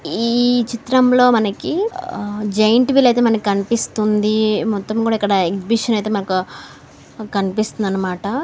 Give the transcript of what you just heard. ఈ చిత్రం లో మన్నాకి ఆ జాయింట్ వీల్ అయితే మనకి కనిపిస్తుంది. మొత్తం కూడా ఇక్కడ ఎక్సిబిషన్ మనకు కనిపిస్తుంది అన్నమాట.